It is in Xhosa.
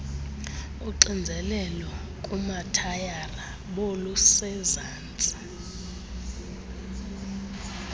uxinzeklelo kumathayara bolusezantsi